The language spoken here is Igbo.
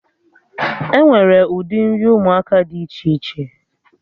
Enwere ụdị nri ụmụaka dị iche iche